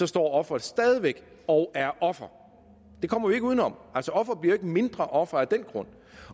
står offeret stadig væk og er offer det kommer vi ikke uden om altså ofre bliver jo mindre ofre af den grund